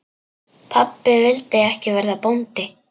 Pabbi vildi ekki verða bóndi.